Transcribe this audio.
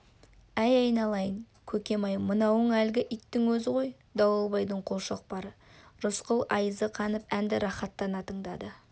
әй айналайын көкем-ай мынауың әлгі иттің өзі ғой дауылбайдың қолшоқпары рысқұл айызы қанып әнді рахаттана тыңдады